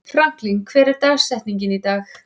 Franklin, hver er dagsetningin í dag?